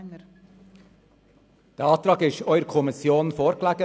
der SiK. Der Antrag lag der Kommission ebenfalls vor.